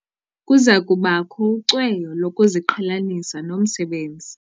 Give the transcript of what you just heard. Kuza kubakho ucweyo lokuziqhelanisa nomsebenzi.